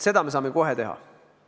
Seda me saame kohe teha.